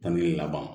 Tange laban